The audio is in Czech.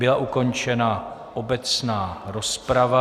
Byla ukončena obecná rozprava.